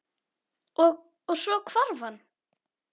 Og- svo hvarf hann.